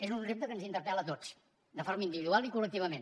és un repte que ens interpel·la a tots de forma individual i col·lectivament